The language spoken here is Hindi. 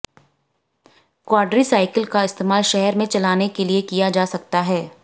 क्वाड्रीसाइकिल का इस्तेमाल शहर में चलाने के लिए किया जा सकता है